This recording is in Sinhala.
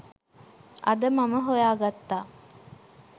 අද මම හොයාගත්තා.